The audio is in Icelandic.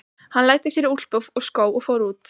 Hann læddi sér í úlpu og skó og fór út.